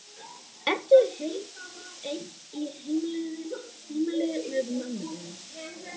Ertu ein í heimili með mömmu þinni?